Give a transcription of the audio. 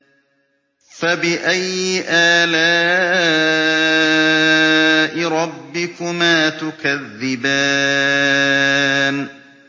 فَبِأَيِّ آلَاءِ رَبِّكُمَا تُكَذِّبَانِ